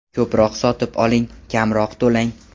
Ko‘proq sotib oling, kamroq to‘lang!